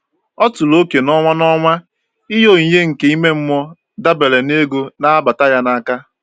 Ọ tụrụ oke n'ọnwa n'ọnwa ịnye onyinye nke ime mmụọ dabere na ego na-abata ya n'aka.